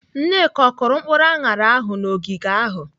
Nneka, ọ kụrụ mkpụrụ aṅara ahụ n'ogige ahụ?